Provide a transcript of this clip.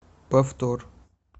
повтор